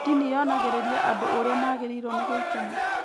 Ndini yonagĩrĩria andũ ũrĩa maagĩrĩirwo nĩ gũikara